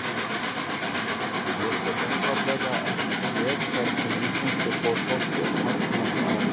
Ég get einfaldlega ekki séð hvernig íslenskur fótbolti hagnast á því.